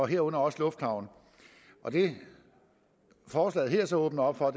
herunder også lufthavne og det forslaget her så åbner op for